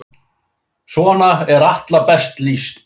Svona er Atla best lýst.